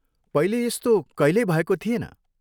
पहिले यस्तो कहिल्यै भएको थिएन।